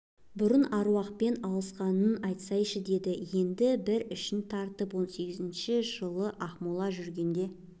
бұрын аруақпен алысқанынын айтсайшы дейді енді бір ішін тартып он сегізінші жылы ақмола жүргенде